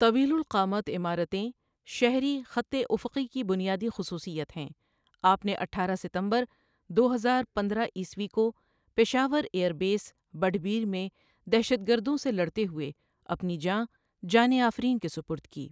طویل القامت عمارتیں شہری خطِ اُفقی کی بنیادی خصوصیّت ہیں آپ نے اٹھارہ ستمبر دو ہزار پندرہ عیسوی کو Peshawar air base Badaber میں دہشت گردوں سے لڑتے ہوئے اپنی جاں، جانِ آفریں کے سپرد کی۔